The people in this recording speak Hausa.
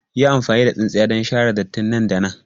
Yi amfani da tsintsiya don share datti nan da nan!